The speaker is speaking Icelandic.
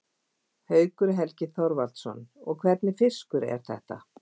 Haukur Helgi Þorvaldsson: Og hvernig fiskur er þetta?